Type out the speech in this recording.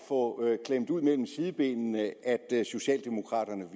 få klemt ud mellem sidebenene at socialdemokraterne